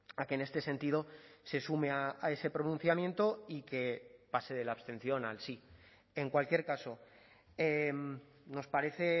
a que en este sentido se sume a ese pronunciamiento y que pase de la abstención al sí en cualquier caso nos parece